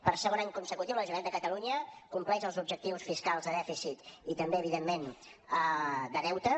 per segon any consecutiu la generalitat de catalunya compleix els objectius fiscals de dèficit i també evidentment de deute